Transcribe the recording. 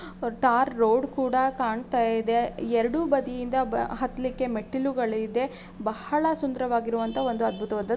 ಒಂದು tar road ಕೂಡ ಕಾಣ್ತಾಯಿದೆ ಎರಡು ಬದಿಯಿಂದ ಹತ್ತಲಿಕ್ಕೆ ಮೆಟ್ಟಿಲುಗಳು ಇದೆ. ಬಹಳ ಸುಂದರವಾಗಿರುವಂತ ಒಂದು ಅದ್ಭುತವಾದ--